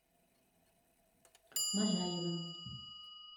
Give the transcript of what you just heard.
можаевым